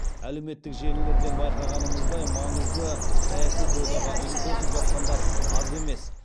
әлеуметтік желілерден байқағанымыздай маңызды саяси додаға үн қосып жатқандар аз емес